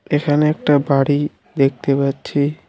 এখানে একটা বাড়ি দেখতে পাচ্ছি।